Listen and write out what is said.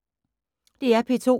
DR P2